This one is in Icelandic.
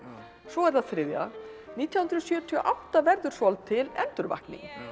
svo er það þriðja nítján hundruð sjötíu og átta verður svolítil endurvakning